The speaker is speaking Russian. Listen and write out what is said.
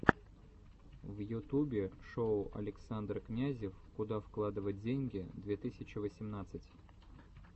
в ютубе шоу александр князев куда вкладывать деньги две тысячи восемнадцать